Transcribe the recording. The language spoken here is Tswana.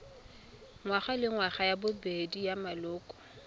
ngwagalengwaga ya bobedi ya maloko